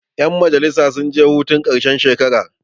yanmajalisa sun je hurun karshen shekara